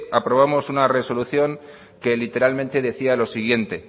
aprobamos una resolución que literalmente decía lo siguiente